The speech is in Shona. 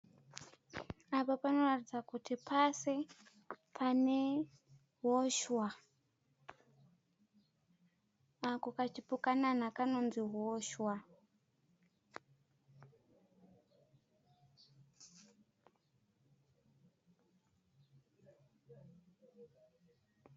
Apo panoratidza kuti pasi pane hozhwa. Ako kachipukanana kanonzi hozhwa.